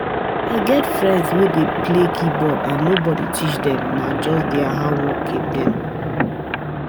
I get friends wey dey play keyboard and nobody teach dem, nah just dier hardwork keep dem